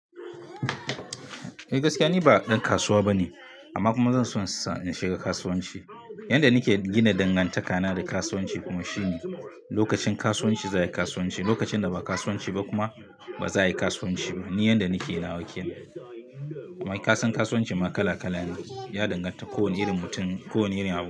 Eh gaskiya ni ba dan kasuwa bane amma kuma zan so in shiga kasuwanci. Yanda nake gina dangantakana da kasuwanci kuma shine lokacin kasuwanci zai yi kasuwanci, lokacin da ba kasuwanci ba kuma ba za yi kasuwanci ba. Ni yanda nake lawakewa. Kenan Mai kasan kasuwanci ma kala kala ne. Ya danganta da kowane irin mutum, kowane irin abu.